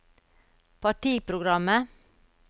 partiprogrammet